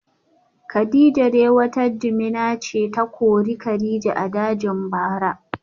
Kadijah dai wata jimina ce ta kori kadija a dajin bara